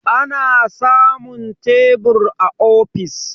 ana samun tebur a ofis